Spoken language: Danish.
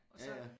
Og så